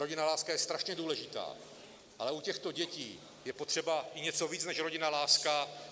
Rodinná láska je strašně důležitá, ale u těchto dětí je potřeba i něco víc než rodinná láska!